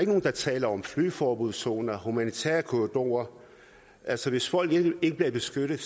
nogen der taler om flyveforbudszoner humanitære korridorer altså hvis folk ikke bliver beskyttet